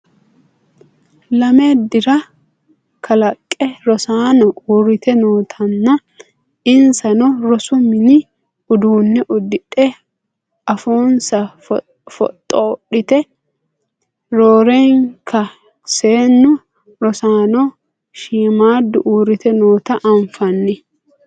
Lame dira kalaqqe rosaano uurrite nootanna insano rosu mini uduunne uddidhe afoonsa foxxoodhite roorenka seennu rosaano shiimmaaddu uurrite noota anfanni